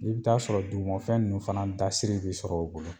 N'i bi taa sɔrɔ dugufɛn nunnu fana dasiri bi sɔrɔ u bolo